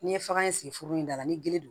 N'i ye faga in sigi foro in da la ni gele do